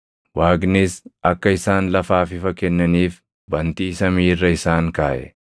Waaqnis akka isaan lafaaf ifa kennaniif bantii samii irra isaan kaaʼe;